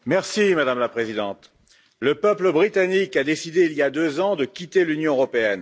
Madame la Présidente, le peuple britannique a décidé il y a deux ans de quitter l'Union européenne.